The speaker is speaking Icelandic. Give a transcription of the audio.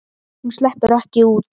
Hún sleppur ekki út.